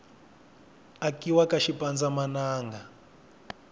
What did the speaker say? akiwa ka swipanza mananga